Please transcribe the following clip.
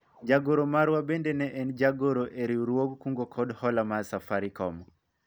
jagoro marwa bende ne en jagoro e riwruog kungo kod hola mar Safarikom